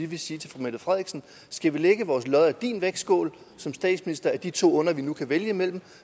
vil sige til fru mette frederiksen skal vi lægge vores lod i din vægtskål som statsminister af de to onder vi nu kan vælge imellem